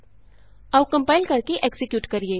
ਆਉ ਕੰਪਾਇਲ ਕਰਕੇ ਐਕਜ਼ੀਕਿਯੂਟ ਕਰੀਏ